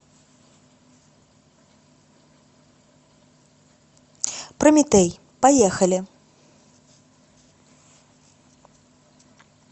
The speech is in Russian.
прометей поехали